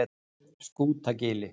Skútagili